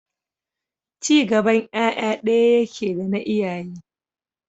Ci gaban ƴaƴa ɗaya yake dana iyaye.